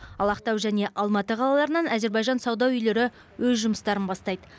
ал ақтау және алматы қалаларынан әзербайжан сауда үйлері өз жұмыстарын бастайды